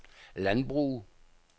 landbrug